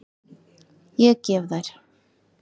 Ég gef þær.